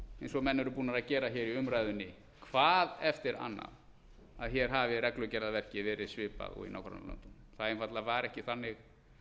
eins og menn eru búnir að gera í umræðunni hvað eftir annað að hér hafi reglugerðarverkið verið svipað og í nágrannalöndunum það einfaldlega var ekki þannig